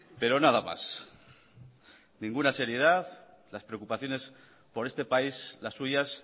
pero nada más ninguna seriedad las preocupaciones por este país las suyas